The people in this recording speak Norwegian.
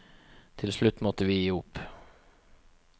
Til slutt måtte vi gi opp.